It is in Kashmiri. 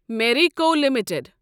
میریٖکو لمٹڈ